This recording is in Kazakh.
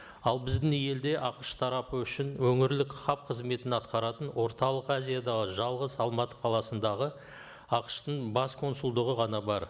ал біздің елде ақш тарапы үшін өңірлік хаб қызметін атқаратын орталық азиядағы жалғыз алматы қаласындағы ақш тың бас консулдығы ғана бар